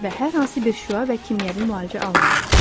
Və hər hansı bir şüa və kimyəvi müalicə almadım.